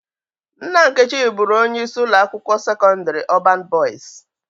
Nna Nkechi bụrụ onye isi ụlọ akwụkwọ sekọndrị Ọbañ Bọyis